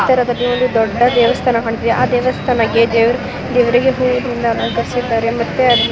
ಈ ಚಿತ್ರದಲ್ಲಿ ಒಂದು ದೊಡ್ಡ ದೇವಸ್ಥಾನ ಕಾಣಿಸುತ್ತಿದೆ ಆ ದೇವಸ್ಥಾನಕ್ಕೆ ದೇವರಿಗೆ ಹೂಗಳಿಂದ ಅಲಂಕರಿಸಿದ್ದಾರೆ ಮತ್ತೆ ಅದರಲ್ಲಿ --